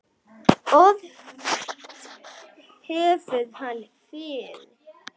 Ort hefur hann fyrr.